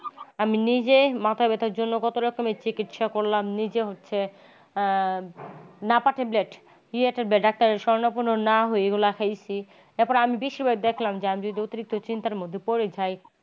আমি নিজে মাথা ব্যাথার জন্যে কত রকমের চিকিৎসা করলাম নিজে হচ্ছে নাপা tablet কি হিসেবে doctor শরণাপন্ন না হয়ে এগুলা খাইছি তারপর আমি বেশিরভাগ দেখলাম যে অতিরিক্ত চিন্তার মধ্যে পড়ে যাই।